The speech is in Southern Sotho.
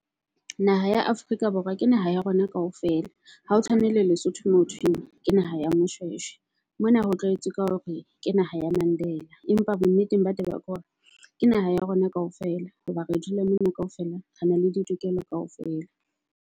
Naha ya Afrika Borwa ke naha ya rona kaofela ha o tshwane le Lesotho moo hothweng ke naha ya Moshweshwe. Mona ho tlaetswe ka hore ke naha ya Mandela. Empa bo nneteng ba taba, ke hona ke naha ya rona kaofela. Hoba re dula mona kaofela re na le di tokelo kaofela.